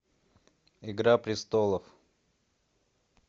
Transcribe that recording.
игра престолов